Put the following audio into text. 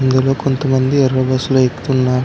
ఇందులో కొంతమంది ఎర బస్సులో లో ఎకుతున్నా-- .